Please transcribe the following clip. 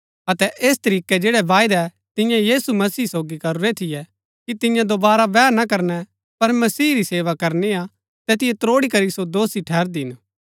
अतै ऐस तरीकै जैड़ै बायदै तिन्यै यीशु मसीह सोगी करूरै थियै कि तिन्या दोवारा बैह ना करनै पर मसीह री सेवा करनी हा तैतिओ त्रोड़ी करी सो दोषी ठैहरदी हिन